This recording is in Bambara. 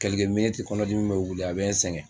kɔnɔdimi bɛ wili a bɛ n sɛgɛn